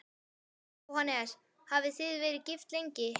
Jóhannes: Hafið þið verið gift lengi?